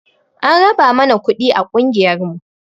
An raba mana kuɗi a ƙungiyar mu